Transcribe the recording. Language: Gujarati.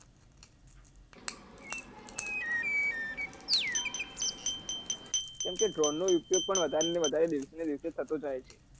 કેમ કે droan નો ઉપયોગ પણ વધારે ને વધારે દિવસે ને દિવસે થતો જાય છે